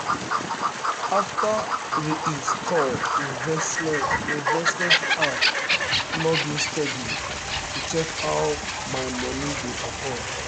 after re-install um investment um investment um app i log in steady to check how my money dey perform.